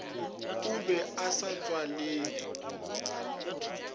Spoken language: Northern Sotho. o be a sa tswalele